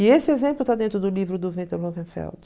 E esse exemplo está dentro do livro do Viktor Lowenfeld.